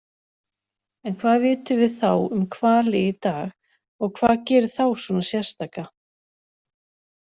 En hvað vitum við þá um hvali í dag og hvað gerir þá svona sérstaka?